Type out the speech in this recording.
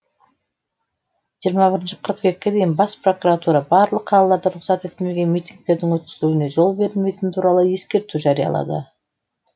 жиырма бірінші қыркүйекке дейін бас прокуратура барлық қалаларда рұқсат етілмеген митингтердің өткізілуіне жол берілмейтіні туралы ескерту жариялады